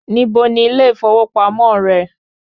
Níbo ni ilé ìfowópamọ́ rẹ?